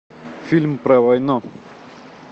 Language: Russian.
фильм про войну